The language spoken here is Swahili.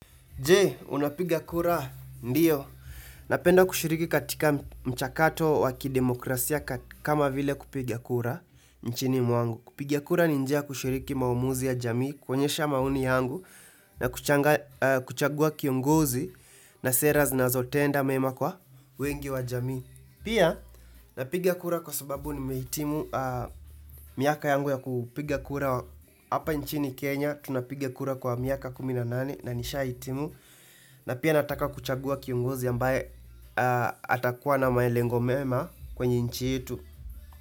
Je, unapiga kura? Ndio. Napenda kushiriki katika mchakato wa kidemokrasia kama vile kupiga kura nchini mwangu. Kupiga kura ni njia ya kushiriki maamuzi ya jamii, kuonyesha maoni yangu na kuchagua kiongozi na sera zinazotenda mema kwa wengi wa jamii. Pia, napiga kura kwa sababu nimehitimu miaka yangu ya kupiga kura hapa nchini Kenya. Tunapiga kura kwa miaka kumi na nane na nishahitimu na pia nataka kuchagua kiongozi ambaye atakuwa na malengo mema kwenye nchi yetu.